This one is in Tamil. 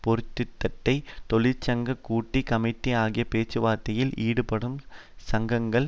பெருந்தோட்ட தொழிற்சங்க கூட்டு கமிட்டி ஆகிய பேச்சுவார்த்தையில் ஈடுபடும் சங்கங்கள்